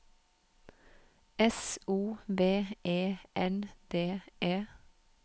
S O V E N D E